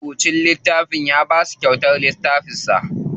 Marubucin littafin ya basu kyautar littafin sa.